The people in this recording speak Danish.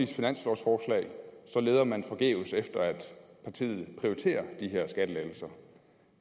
finanslovsforslag leder man forgæves efter at partiet prioriterer de her skattelettelser